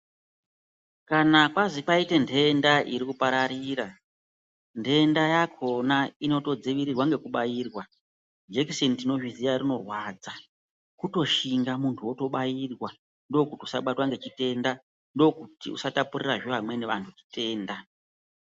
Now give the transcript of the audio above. Kana kwazwi kwaite nthenda iri kupararira, nthenda yakhona inotodziirirwa ngekubairwa. Jekiseni tinozviziya rinorwadza, kutoshinga muntu wotobairwa, ndokuti usabatwe ngezvitenda, ndokuti usatapurirazve anamweni antu zvitenda.